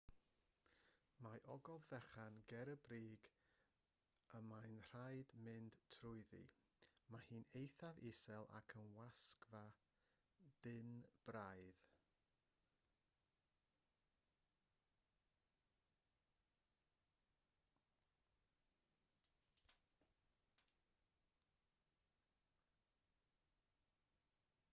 mae ogof fechan ger y brig y mae'n rhaid mynd trwyddi mae hi'n eithaf isel ac yn wasgfa dynn braidd